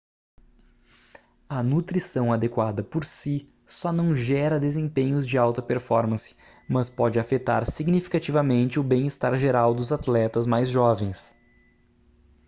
a nutrição adequada por si só não gera desempenhos de alta performance mas pode afetar significativamente o bem-estar geral dos atletas mais jovens